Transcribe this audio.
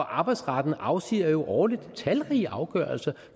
arbejdsretten afsiger jo årligt talrige afgørelser